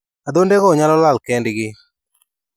Adhondego nyalo lal kendgi.